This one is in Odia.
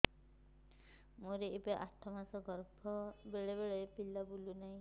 ମୋର ଏବେ ଆଠ ମାସ ଗର୍ଭ ବେଳେ ବେଳେ ପିଲା ବୁଲୁ ନାହିଁ